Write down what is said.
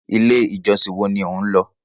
1. ilé ìjọsìn woa ni o nlọ